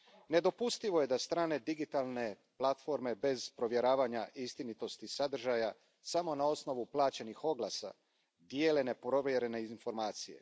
Nedopustivo je da strane digitalne platforme bez provjeravanja istinitosti sadržaja, samo na osnovu plaćenih oglasa, dijele neprovjerene informacije.